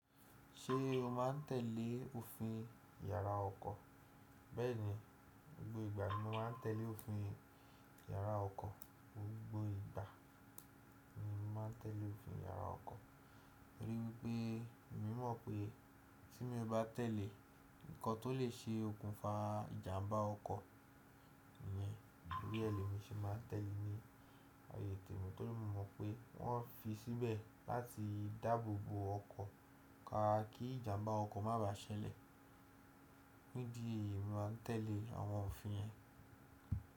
Ṣé o má n tẹ̀lé òfin yàrá ọkọ̀? Bẹ́ẹ̀ni, gbogbo ìgbà ni mo má n tẹ̀lé òfin yàrá ọkọ̀. Gbogbo ìgbà ni mo má n tẹ̀lé òfin yàrá ọkọ̀. Nítorí pé emi mọ̀ pé tí mo bá tẹ̀lé nǹkan tó lè ṣe òkùnfà ìjàmbá ọkọ̀ yẹn, tori èlé mi ṣe má n tẹ̀lé ní ààyè tẹ̀ mi torí mo mọ̀ pé wọ́n fi síbẹ̀ láti dáàbò bo ọkọ̀ káakí ìjàmbá ọkọ̀ má ba ṣẹlẹ̀. Nídìí yìí ni mo má n tẹ̀lé àwọn òfin yẹn.